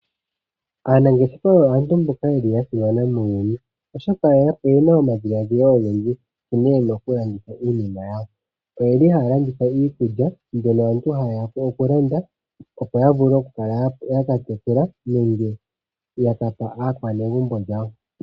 Aanangeshefa oyo aantu mboka yeli yasimana muuyuni, oshoka oyena omadhiladhilo ogendji, onkee yena okulanditha iinima yawo. Oyeli haalanditha iikulya, mbyono aantu hayeya okulanda opo yavule okukala yakakwathela nenge yakapa aakwanegumbo lyawo.